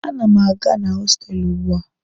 A na m aga na hostelụ ugbua.